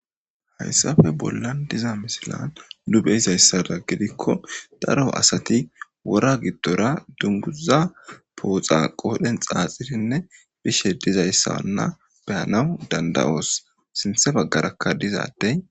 Hayssafe bollan diza misilan du be izayssada gidikko daro asati wora giddora dunguza pooxa qoodhen xaaxirinne bishe dizayssaanna beyanawu danda7oos sinthe baggarakka dizaddey